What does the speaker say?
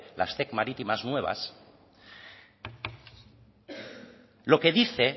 las marítimas nuevas lo que dice